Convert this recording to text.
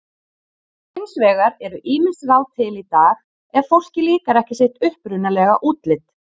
Hins vegar eru ýmis ráð til í dag ef fólki líkar ekki sitt upprunalega útlit.